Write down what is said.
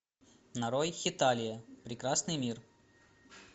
нарой хеталия прекрасный мир